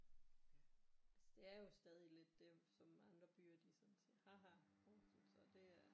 Altså det er jo stadig lidt det som andre byer de sådan siger ha ha Horsens så det er